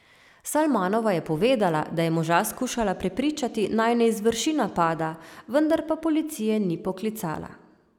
Salmanova je povedala, da je moža skušala prepričati naj ne izvrši napada, vendar pa policije ni poklicala.